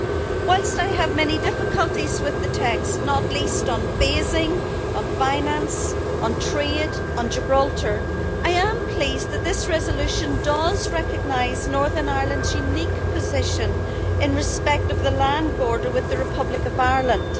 Whilst I have many difficulties with the text not least on phasing, on finance, on trade, and on Gibraltar I am pleased that this resolution does recognise Northern Ireland's unique position in respect of the land border with the Republic of Ireland.